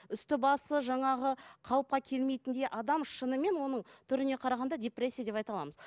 үсті басы жаңағы қалыпқа келмейтіндей адам шынымен оның түріне қарағанда депрессия деп айта аламыз